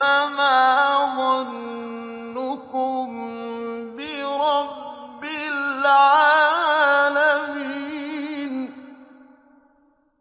فَمَا ظَنُّكُم بِرَبِّ الْعَالَمِينَ